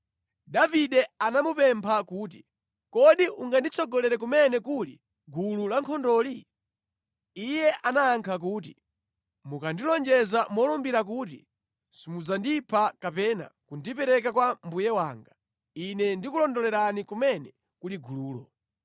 Davide anamupempha kuti, “Kodi unganditsogolere kumene kuli gulu lankhondoli?” Iye anayankha kuti, “Mukandilonjeza molumbira kuti simudzandipha kapena kundipereka kwa mbuye wanga, ine ndikulondolerani kumene kuli gululo.”